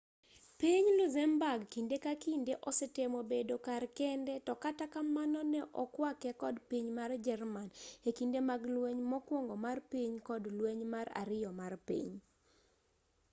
piny luxemburg kinde ka kinde osetemo bedo kar kende to kata kamano ne okwake kod piny mar jerman e kinde mag lweny mokuongo mar piny kod lweny mar ariyo mar piny